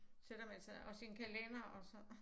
Sætter man sig og sin kalender og så